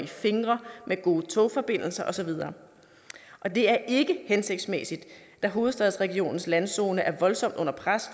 fingre med gode togforbindelser og så videre det er ikke hensigtsmæssigt da hovedstadsregionens landzone er voldsomt under pres